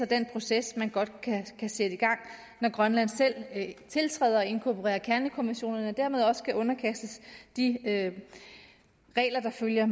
den proces man godt kan sætte i gang når grønland selv tiltræder at inkorporere kernekonventionerne og dermed også underkastes de regler der følger